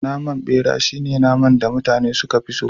Naman bera shine naman da mutane suka fi so